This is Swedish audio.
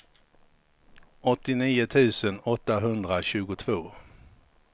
åttionio tusen åttahundratjugotvå